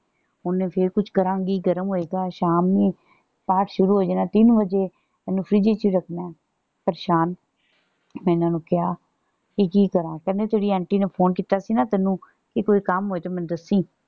ਹੁਣੇ ਫੇਰ ਕੁਛ ਕਰਾਂਗੀ ਗਰਮ ਹੋਏਗਾ ਸ਼ਾਮੀ ਪਾਠ ਸ਼ੁਰੂ ਹੋ ਜਾਣਾ ਤਿਨ ਵਜੇ। ਇਹਨੂੰ ਫਰਿੱਜ ਚ ਰੱਖਣਾ ਹੈ। ਪਰੇਸ਼ਾਨ। ਮੈਂ ਇਹਨਾ ਨੂੰ ਕਿਹਾ ਵੀ ਕੀ ਕਰਾਂ। ਕਹਿੰਦੇ ਜਿਹੜੀ ਆਂਟੀ ਨੇ phone ਕੀਤਾ ਸੀ ਨਾ ਤੈਨੂੰ ਕਿ ਕੋਈ ਕੰਮ ਹੋਏ ਤੇ ਮੈਨੂੰ ਦਸੀ।